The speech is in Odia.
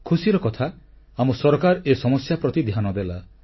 ଖୁସିର କଥା ଆମ ସରକାର ଏହି ସମସ୍ୟା ପ୍ରତି ଧ୍ୟାନ ଦେଲା